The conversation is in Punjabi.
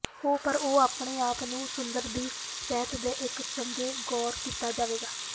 ਹੋ ਪਰ ਉਹ ਆਪਣੇ ਆਪ ਨੂੰ ਸਮੁੰਦਰ ਦੀ ਸਤਹ ਦੇ ਇੱਕ ਚੰਗੇ ਗੌਰ ਕੀਤਾ ਜਾਵੇਗਾ